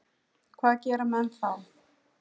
Hvað gera menn þá?